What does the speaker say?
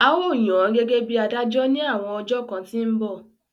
A ó yàn án gẹ́gẹ́ bí adájọ́ ní àwọn ọjọ́ kan tí ń bọ̀